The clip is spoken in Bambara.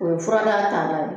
O ye fura n'a taalan ye